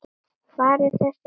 Hvar er þessi vegur?